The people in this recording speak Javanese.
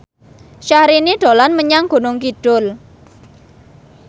Syahrini dolan menyang Gunung Kidul